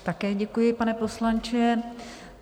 Také děkuji, pane poslanče.